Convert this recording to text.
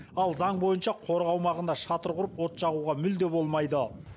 ал заң бойынша қорық аумағына шатыр құрып от жағуға мүлде болмайды